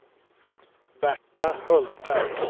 Berta Hultberg